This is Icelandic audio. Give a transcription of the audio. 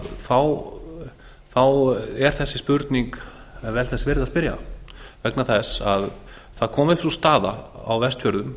þá er vel þess virði að spyrja þessarar spurningar vegna þess að það kom upp sú staða á vestfjörðum